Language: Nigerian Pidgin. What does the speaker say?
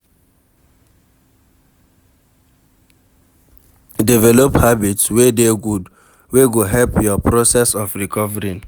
Develop habits wey dey good, wey go help your process of recovering